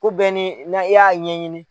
Ko bɛɛ nin na i y'a ɲɛɲini